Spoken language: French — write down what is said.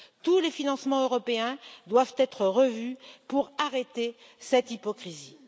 Tous les financements européens doivent être revus pour arrêter cette hypocrisie.